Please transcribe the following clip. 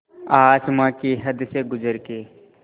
आसमां की हद से गुज़र के